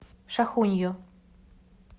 шахунью